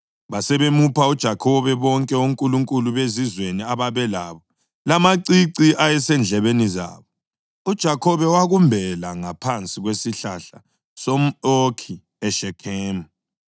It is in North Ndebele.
Basebemupha uJakhobe bonke onkulunkulu bezizweni ababelabo lamacici ayesendlebeni zabo, uJakhobe wakumbela ngaphansi kwesihlahla somʼOkhi eShekhemu.